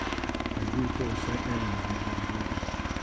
Pa je bil to vsaj eden izmed razlogov?